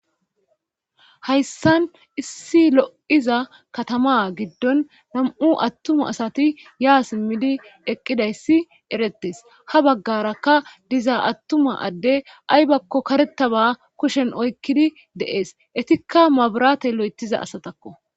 Hayssan issi lo7iza katama giddon nam7u attuma asati yaa simmidi eqqidayssi eretes ha baggarakka diza attuma adde aybakko karetaba kushen oykkidi deees etikka maburate lo7etiza asatakko